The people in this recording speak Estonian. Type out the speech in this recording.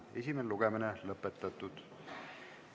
Esimene lugemine on lõpetatud.